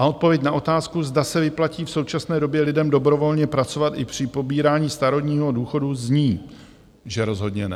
A odpověď na otázku, zda se vyplatí v současné době lidem dobrovolně pracovat i při pobírání starobního důchodu, zní, že rozhodně ne.